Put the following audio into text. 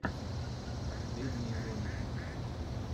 последние ролики